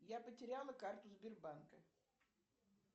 я потеряла карту сбербанка